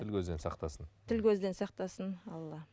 тіл көзден сақтасын тіл көзден сақтасын алла